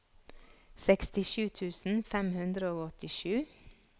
sekstisju tusen fem hundre og åttisju